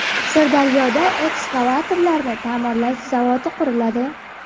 Sirdaryoda ekskavatorlarni ta’mirlash zavodi quriladi.